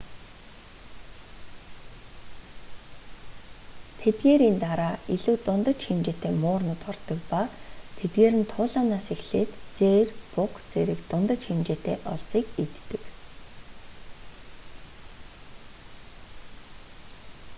тэдгээрийн дараа илүү дундаж хэмжээтэй муурнууд ордог ба тэдгээр нь туулайнаас эхлээд зээр буга зэрэг дундаж хэмжээтэй олзыг иддэг